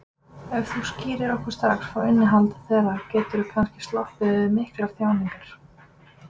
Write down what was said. Ef þú skýrir okkur strax frá innihaldi þeirra geturðu kannski sloppið við miklar þjáningar.